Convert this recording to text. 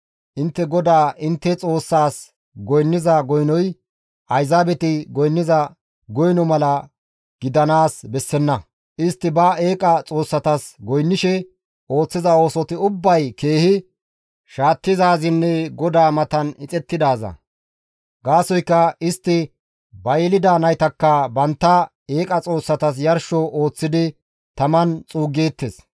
Intte GODAA intte Xoossaas goynniza goynoy ayzaabeti goynniza goyno mala gidanaas bessenna; istti ba eeqa xoossatas goynnishe ooththiza oosoti ubbay keehi shaattizaazinne GODAA matan ixettidaaza; gaasoykka istti ba yelida naytakka bantta eeqa xoossatas yarsho ooththidi taman xuuggeettes.